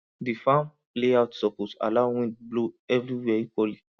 di farm layout suppose allow wind blow every where equally